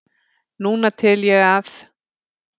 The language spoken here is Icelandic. Núna tel ég að